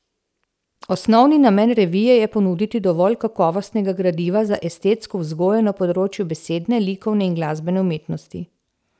Osnovni namen revije je ponuditi dovolj kakovostnega gradiva za estetsko vzgojo na področju besedne, likovne in glasbene umetnosti.